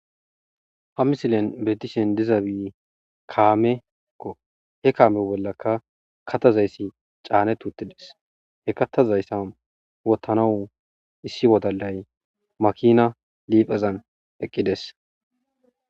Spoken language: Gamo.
Ha misilen beetishe dizabi kaameko. He kaame bollaka katazayssi caaneti uttides. He kattazayssan wottanaw issi wodalay makina liiphazan eqqides.